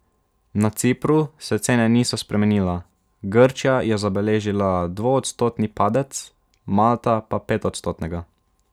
Na Cipru se cene niso spremenile, Grčija je zabeležila dvoodstotni padec, Malta pa petodstotnega.